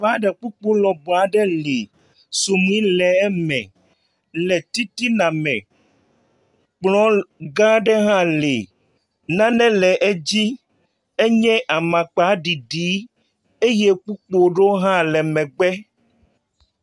Xɔ aɖe kpukpu lɔbɔ aɖe li. Suɖui le eme le titina me. Kplɔ̃ gã aɖe hã li. Nane le edzi, enye amakpa ɖiɖi eye kpukpuɖewo hã le megbe.